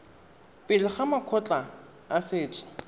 pele ga makgotla a setso